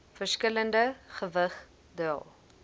verskillende gewig dra